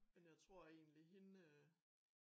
Men jeg tror egentlig hende øh